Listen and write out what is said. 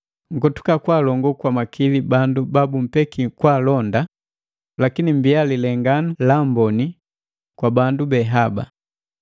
Nkotuka kwaalongo kwa makili bandu babumpeki kwaalonda, lakini mmbia lilenganu la mboni kwa bandu be haba.